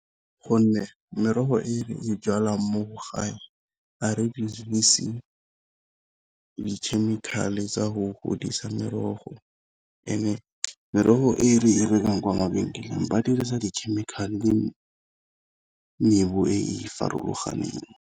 Gonne merogo e e jalang mo gae a re dirise di-chemical-e tsa go godisa merogo, and-e merogo e re rekang kwa mabenkeleng ba dirisa di-chemical le e e farologaneng.